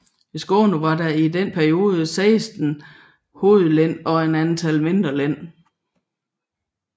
I Skåne var der i denne periode 16 hovedlen og et antal mindre len